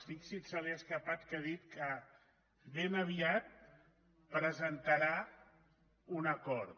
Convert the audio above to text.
fixi’s se li ha escapat que ha dit que ben aviat presentarà un acord